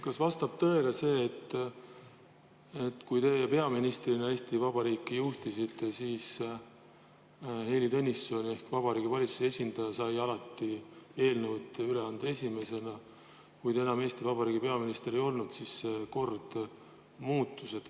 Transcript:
Kas vastab tõele see, et kui teie peaministrina Eesti Vabariiki juhtisite, siis Heili Tõnisson ehk Vabariigi Valitsuse esindaja sai alati eelnõud üle anda esimesena, ja kui te enam Eesti Vabariigi peaminister ei olnud, siis kord muutus?